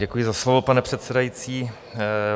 Děkuji za slovo, pane předsedající.